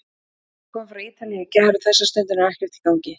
Ég kom frá Ítalíu í gær og þessa stundina er ekkert í gangi.